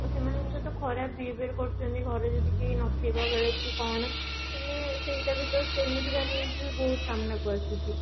ସେମାନଙ୍କ ସହିତ ଖରାପ behaviour କରୁଛନ୍ତି ଘରେ ଯଦି କେହି ନଥିବେ କି କଣ ମାନେ ସେଇଟା ବି ତ ସେମିତିକା news ବହୁତ ସାମ୍ନା କୁ ଆସୁଛି